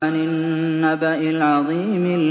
عَنِ النَّبَإِ الْعَظِيمِ